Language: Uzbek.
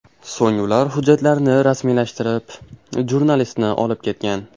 So‘ng ular hujjatlarni rasmiylashtirib, jurnalistni olib ketgan.